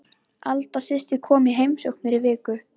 Alda systir kom í heimsókn fyrir viku.